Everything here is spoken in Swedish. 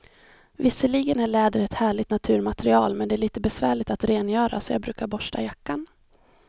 Visserligen är läder ett härligt naturmaterial, men det är lite besvärligt att rengöra, så jag brukar borsta jackan.